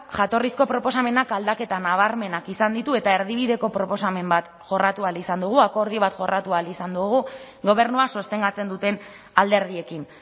jatorrizko proposamenak aldaketa nabarmenak izan ditu eta erdibideko proposamen bat jorratu ahal izan dugu akordio bat jorratu ahal izan dugu gobernua sostengatzen duten alderdiekin